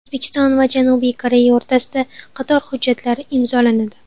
O‘zbekiston va Janubiy Koreya o‘rtasida qator hujjatlar imzolanadi.